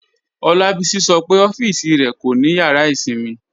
Olabisi sọ́ pe ọffísì rẹ kò ni yàrà ìṣinmí